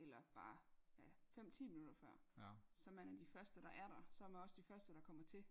eller bare ja fem ti minutter før så man er de første der er der så er man også de første der kommer til